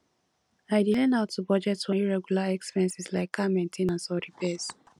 i dey learn how to budget for irregular expenses like car main ten ance or repairs